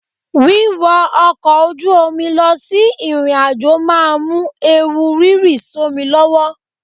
Wíwọ ọkọ̀ ojú omi lọ sí ìrìnàjò máa mú ewu rírì sómi lọ́wọ́.